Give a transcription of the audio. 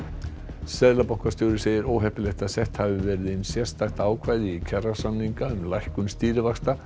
seðlabankastjóri segir óheppilegt að sett hafi verið inn sérstakt ákvæði í kjarasamningana um lækkun stýrivaxta